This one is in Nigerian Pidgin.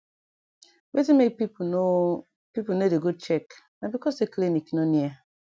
wetin make pipu no pipu no dey go check na becos say clinic no near